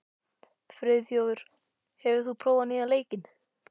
Friðþjófur, hefur þú prófað nýja leikinn?